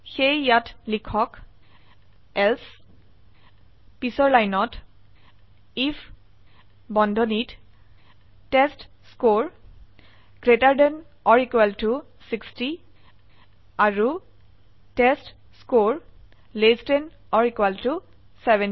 সেয়ে ইয়াত লিখক এলছে পিছৰ লাইনত আইএফ বন্ধনীত টেষ্টস্কৰে 60 আৰু টেষ্টস্কৰে 70